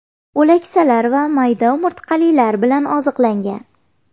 O‘laksalar va mayda umurtqalilar bilan oziqlangan.